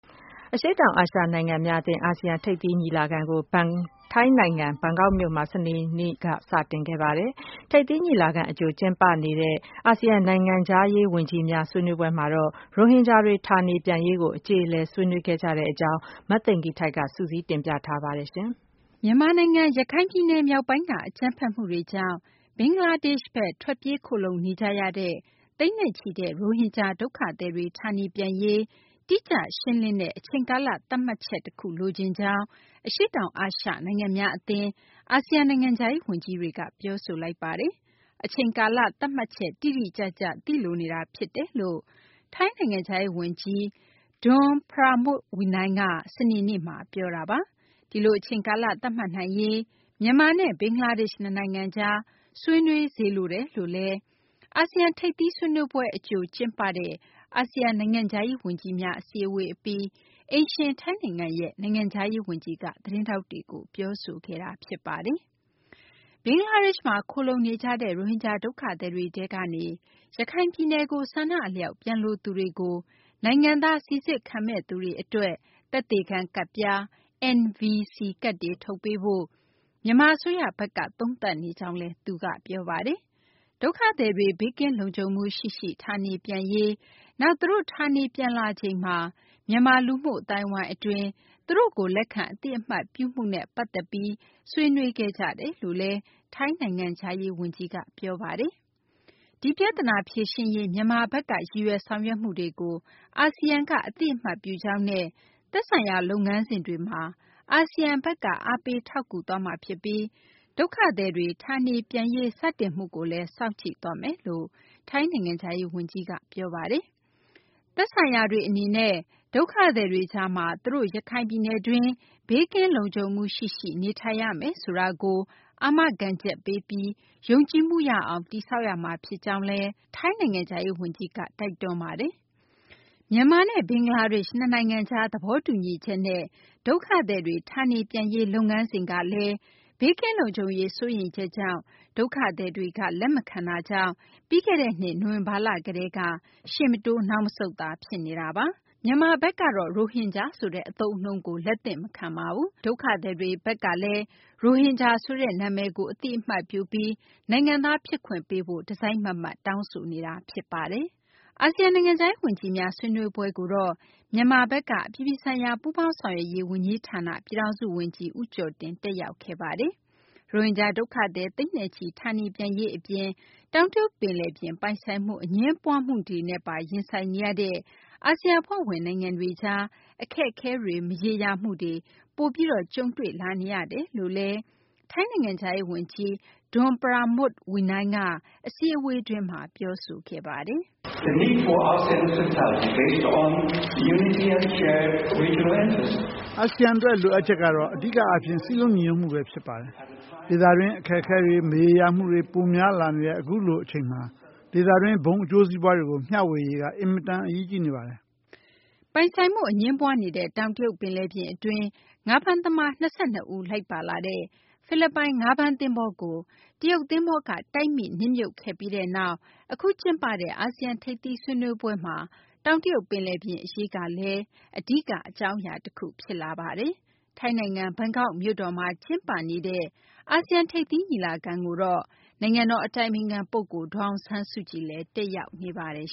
အရှေ့တောင်အာရှ နိုင်ငံများ အသင်း အာဆီယံ ထိပ်သီး ညီလာခံကို ထိုင်းနိုင်ငံ ဘန်ကောက်မြို့တော်မှာ စနေနေ့က စတင်လိုက်ပါတယ်။ ထိပ်သီးညီလာခံ အကြို ကျင်းပနေတဲ့ အာဆီယံ နိုင်ငံခြားရေး ဝန်ကြီးများ ဆွေးနွေးပွဲမှာတော့ ရိုဟင်ဂျာတွေ ဌာနေပြန်ရေးကို အကျေအလည် ဆွေးနွေးခဲ့ကြပါတယ်။ မသိင်္ဂီထိုက် စုစည်းတင်ပြထားပါတယ်။ မြန်မာနိုင်ငံ ရခိုင်ပြည်နယ် မြောက်ပိုင်းက အကြမ်းဖက်မှုတွေကြောင့် ဘင်္ဂလားဒေ့ရှ်ဘက်ကို ထွက်ပြေးခိုလှုံနေကြရတဲ့ သိန်းနဲ့ချီတဲ့ ရိုဟင်ဂျာ ဒုက္ခသည်တွေ ဌာနေပြန်ရေး တိကျ ရှင်းလင်းတဲ့ အချိန်ကာလ သတ်မှတ်ချက် တခုကို လိုချင်ကြောင်း အရှေ့တောင် အာရှ နိုင်ငံများ အသင်း အာဆီယံ နိုင်ငံခြားရေး ဝန်ကြီးတွေက ပြောဆိုလိုက်ကြပါတယ်။ အချိန်ကာလ သတ်မှတ်ချက် တိတိကျကျ သိလိုနေတာ ဖြစ်တယ်လို့ ထိုင်းနိုင်ငံခြားရေး ဝန်ကြီး Don Pramudwinai က စနေနေ့မှာ ပြောတာပါ။ ဒီလို အချိန်ကာလ သတ်မှတ်နိုင်ရေး မြန်မာနဲ့ ဘင်္ဂလားဒေ့ရှ် နှစ်နိုင်ငံကြား ဆွေးနွေးစေလိုတယ်လို့လည်း အာဆီယံ ထိပ်သီး ဆွေးနွေးပွဲ အကြို ကျင်းပတဲ့ အာဆီယံ နိုင်ငံခြားရေး ဝန်ကြီးများ အစည်းအဝေး အပြီး အိမ်ရှင် ထိုင်းနိုင်ငံရဲ့ နိုင်ငံခြားရေး ဝန်ကြီးက သတင်းထောက်တွေကို ပြောဆိုခဲ့တာပါ။ ဘင်္ဂလားဒေ့ရှ်မှာ ခိုလှုံနေကြတဲ့ ရိုဟင်ဂျာ ဒုက္ခသည်တွေထဲကနေ ရခိုင်ပြည်နယ်ကို ဆန္ဒအလျောက် ပြန်လိုသူတွေကို နိုင်ငံသား စိစစ်ခံမယ့်သူတွေ အတွက် သက်သေခံ ကဒ်ပြား NVC ကဒ်တွေ ထုတ်ပေးဖို့ မြန်မာအစိုးရဘက်က သုံးသပ်နေကြောင်းလည်း သူက ပြောပါတယ်။ ဒုက္ခသည်တွေ ဘေးကင်းလုံခြုံမှု ရှိရှိ ဌာနေပြန်ရေး နောက် သူတို့ ဌာနေပြန်လာချိန်မှာ မြန်မာ လူမှုအသိုင်းအဝိုင်းအတွင်း သူတို့ကို လက်ခံအသိအမှတ်ပြုမှုနဲ့ ပတ်သက်ပြီး ဆွေးနွေးခဲ့ကြတယ်လို့လည်း ထိုင်းနိုင်ငံခြားရေး ဝန်ကြီးက ပြောဆိုခဲ့ပါတယ်။ ဒီပြဿနာကို ဖြေရှင်းရေး မြန်မာဘက်က ရည်ရွယ် ဆောင်ရွက်မှုတွေကို အာဆီယံဘက် အသိအမှတ်ပြုကြောင်းနဲ့ သက်ဆိုင်ရာ လုပ်ငန်းစဉ်တွေမှာ အာဆီယံဘက်က အားပေးထောက်ကူသွားမှာ ဖြစ်ပြီး ဒုက္ခသည်တွေ ဌာနေပြန်ရေး စတင်မှုကိုလည်း စောင့်ကြည့်သွားမယ်လို့ ထိုင်းနိုင်ငံခြားရေး ဝန်ကြီးက ပြောပါတယ်။ သက်ဆိုင်ရာတွေ အနေနဲ့လည်း ဒုက္ခသည်တွေကြားမှာ သူတို့ ရခိုင်ပြည်နယ်တွင်းမှာ ဘေးကင်းလုံခြုံမှု ရှိရှိ နေထိုင်ရမယ်ဆိုတာကို အာမခံချက်ပေးပြီး ယုံကြည်မှုရအောင် တည်ဆောက်ရမှာ ဖြစ်ကြောင်းလည်း ထိုင်းနိုင်ငံခြားရေး ဝန်ကြီးက တိုက်တွန်းပါတယ်။ မြန်မာနဲ့ ဘင်္ဂလားဒေ့ရှ် နှစ်နိုင်ငံကြား သဘောတူထားတဲ့ ဒုက္ခသည်တွေ ဌာနေပြန်ရေး အစီအစဉ်ကလည်း ဘေးကင်းလုံခြုံရေး စိုးရိမ်ချက်ကြောင့် ဒုက္ခသည်တွေက လက်မခံတာကြောင့် ပြီးခဲ့တဲ့နှစ် နိုဝင်ဘာလ ကတည်းက ရှေ့မတိုး နောက်မဆုတ်သာ ဖြစ်နေတာပါ။ မြန်မာဘက်က ရိုဟင်ဂျာဆိုတဲ့ အသုံးအနှုန်းကို လက်သင့်မခံဘဲ ဒုက္ခသည်တွေဘက်ကတော့ ရိုဟင်ဂျာဆိုတာကို အသိအမှတ်ပြုပြီး နိုင်ငံသား ပေးဖို့ တစိုက်မတ်မတ် တောင်းဆိုနေတာပါ။ အာဆီယံ နိုင်ငံခြားရေး ဝန်ကြီးများ ဆွေးနွေးပွဲကိုတော့ မြန်မာဘက်က အပြည်ပြည်ဆိုင်ရာ ပူးပေါင်းဆောင်ရွက်ရေး ဝန်ကြီးဌာန ပြည်ထောင်စုဝန်ကြီး ဦးကျော်တင် တက်ရောက်ခဲ့တာပါ။ ရိုဟင်ဂျာ ဒုက္ခသည် သိန်းနဲ့ချီ ဌာနေပြန်ရေး အပြင် တောင်တရုတ် ပင်လယ်ပြင် ပိုင်ဆိုင်မှု အငြင်းပွားမှုတွေနဲ့ပါ ရင်ဆိုင်နေရတဲ့ အာဆီယံ အဖွဲ့ဝင်နိုင်ငံတွေကြား အခက်အခဲတွေ မရေရာမှုတွေ ပိုပြီး ကြုံတွေ့လာနေရတယ်လို့လည်း ထိုင်းနိုင်ငံခြားရေး ဝန်ကြီး Don Pramudwinai က အစည်းအဝေးတွင်း ပြောဆိုခဲ့ပါတယ်။ အာဆီယံ အတွက် လိုအပ်ချက်ကတော့ အဓိကအားဖြင့် စည်းလုံညီညွတ်မှုပဲ ဖြစ်ပါတယ်။ ဒေသတွင်း အခက်အခဲတွေ မရေရာမှုတွေ ပိုများလာနေတဲ့ အခုလို အချိန်မှာ ဒေသတွင်း ဘုံအကျိုးစီးပွားတွေကို မျှဝေရေးက အင်မတန် အရေးကြီးနေပါတယ်။ ပိုင်ဆိုင်မှု အငြင်းပွားနေတဲ့ တောင်တရုတ် ပင်လယ်ပြင် အတွင်း ငါးဖမ်းသမား ၂၂ ဦး လိုက်ပါလာတဲ့ ဖိလစ်ပိုင် ငါးဖမ်းသဘောၤကို တရုတ်သဘောၤက တိုက်မိ နစ်မြှုပ်ခဲ့ပြီးနောက် အခု ကျင်းပတဲ့ အာဆီယံ ထိပ်သီးဆွေးနွေးပွဲမှာ တောင်တရုတ် ပင်လယ်ပြင် အရေးကလည်း အဓိက အကြောင်းအရာ တခု ဖြစ်နေပါတယ်။ ထိုင်းနိုင်ငံ ဘန်ကောက်မြို့တေ်ာမှာ ကျင်းပနေတဲ့ အာဆီယံ ထိပ်သီးညီလာခံကိုတော့ နိုင်ငံတော် အတိုင်ပင်ခံ ပုဂ္ဂိုလ် ဒေါ်အောင်ဆန်းစုကြည်လည်း တက်ရောက်နေပါတယ်